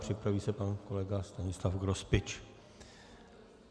Připraví se pan kolega Stanislav Grospič.